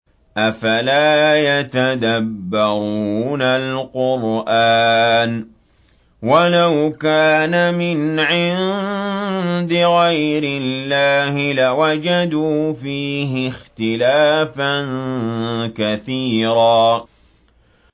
أَفَلَا يَتَدَبَّرُونَ الْقُرْآنَ ۚ وَلَوْ كَانَ مِنْ عِندِ غَيْرِ اللَّهِ لَوَجَدُوا فِيهِ اخْتِلَافًا كَثِيرًا